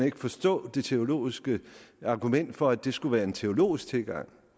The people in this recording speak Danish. ikke forstå det teologiske argument for at det skulle være en teologisk tilgang